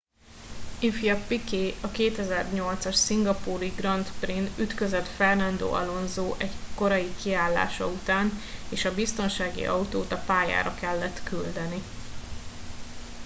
ifj piquet a 2008 as szingapúri grand prix n ütközött fernando alonso egy korai kiállása után és a biztonsági autót a pályára kellett küldeni